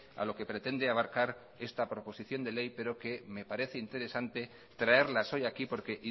a lo que pretende abarcar esta proposición de ley pero que me parece interesante traerlas hoy aquí porque